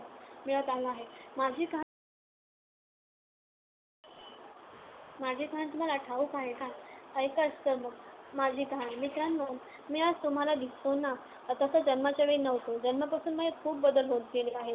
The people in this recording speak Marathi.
मिळत आला आहे. माझी कहाणी माझी कहाणी तुम्हांला ठाऊक आहे का? ऐकाच तर मग माझी कहाणी. मित्रांनो, मी आज तुम्हांला दिसतो ना, तसा जन्माच्या वेळी नव्हतो. जन्मापासून माझ्यात खूप बदल होत गेले आहेत.